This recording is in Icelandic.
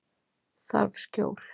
Þarf skjól.